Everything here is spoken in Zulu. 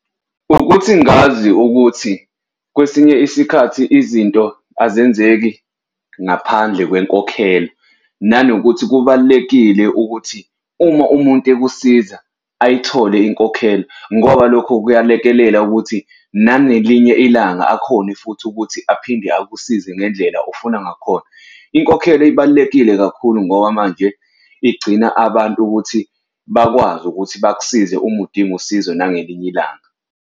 Ukuthi ngazi ukuthi, kwesinye isikhathi izinto azenzeki ngaphandle kwenkokhelo, nanokuthi kubalulekile ukuthi uma umuntu ekusiza ayithole inkokhelo ngoba lokho kuyalekelela ukuthi nangelinye ilanga akhone futhi ukuthi aphinde akusize ngendlela ofuna ngakhona. Inkokhelo ibalulekile kakhulu ngoba manje igcina abantu ukuthi bakwazi ukuthi bakusize uma udinga usizo nangelinye ilanga.